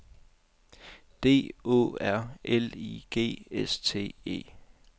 D Å R L I G S T E